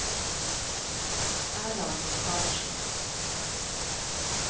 Erland Karlsen